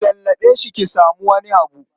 Ki lallaɓe shi ki samu wani abu.